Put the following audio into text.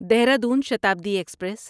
Dehradun Shatabdi express